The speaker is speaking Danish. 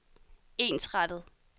ensrettet